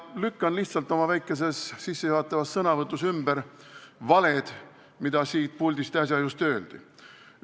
Lükkan lihtsalt oma väikeses sissejuhatavas sõnavõtus ümber valed, mida siit puldist äsja öeldi.